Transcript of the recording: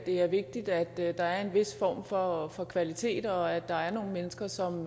er vigtigt at der er en vis form for for kvalitet og at der er nogle mennesker som